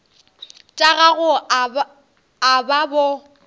tša gago a ba bo